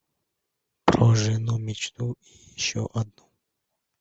про жену мечту и еще одну